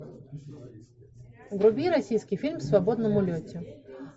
вруби российский фильм в свободном улете